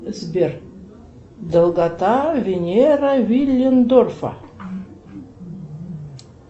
сбер долгота венера виллендорфа